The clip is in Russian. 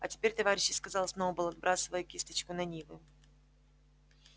а теперь товарищи сказал сноуболл отбрасывая кисточку на нивы